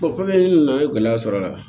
fɛn min nana i ye gɛlɛya sɔrɔ a la